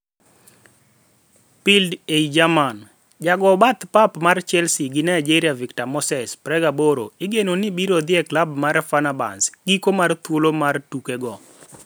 (Bild - ei German) Jago bath pap mar Chelsea gi Nigeria Victor Moses, 28, igeno ni biro dhi e klab mar Fenerbahce giko mar thuolo mar tuke go .